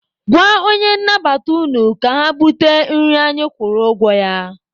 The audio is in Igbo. Gwa onye nnabata unu ka ha bute nri anyị kwụrụ ụgwọ ya.